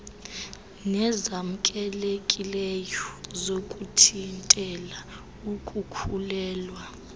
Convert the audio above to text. nezamkelekileyo zokuthintela ukukhulelwa